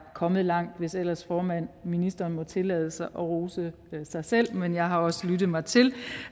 kommet langt hvis ellers ministeren må tillade sig at rose sig selv men jeg har også lyttet mig til